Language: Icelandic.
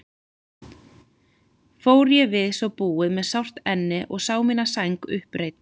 Fór ég við svo búið með sárt enni og sá mína sæng uppreidda.